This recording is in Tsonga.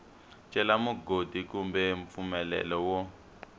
cela mugodi kumbe mpfumelelo wo